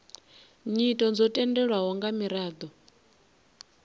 nyito dzo tendelwaho nga miraḓo